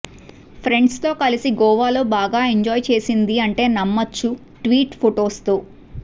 friends తో కలిసి గోవా లో బాగా ఎంజాయ్ చేసింది అంటే నమ్మొచ్చు ట్వీట్ ఫొటోస్ తో